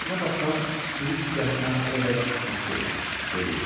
Əslində baxsan, sürü hissiyatı mənə o qədər də xas deyil, dedi.